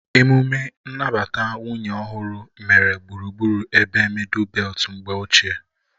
Emume nnabata nwunye ọhụrụ mere gburugburu ebe mịdul beltu mgbe ochie